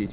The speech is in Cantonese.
施。